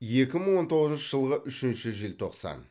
екі мың он тоғызыншы жылғы үшінші желтоқсан